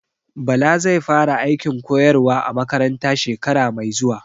Bala zai fara aikin koyarwa a makaranta shekara mai zuwa